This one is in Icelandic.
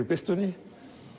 birtunni